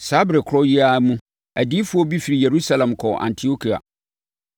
Saa ɛberɛ korɔ yi ara mu, adiyifoɔ bi firi Yerusalem kɔɔ Antiokia.